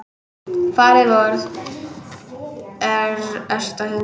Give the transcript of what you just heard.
Faðir vor, er ert á himnum.